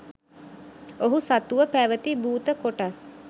ඔහු සතුව පැවැති භූත කොටස්